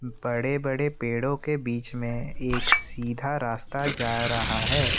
बड़े बड़े पेड़ों के बीच में एक सीधा रास्ता जा रहा है।